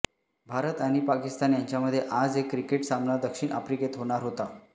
भारत आणि पाकिस्तान यांच्यामध्ये आज एक क्रिकेट सामना दक्षिण आफ्रिकेत होणार होता